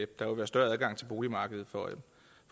der vil være større adgang til boligmarkedet for